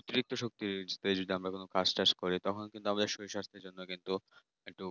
অতিরিক্ত শক্তির use এ আমরা কাজটাজ করি কিন্তু আমাদের শরীর স্বাস্থ্যের জন্য আমরা কিন্তু